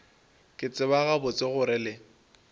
ke tseba gabotse gore le